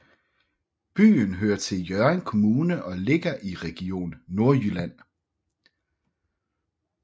Byen hører til Hjørring Kommune og ligger i Region Nordjylland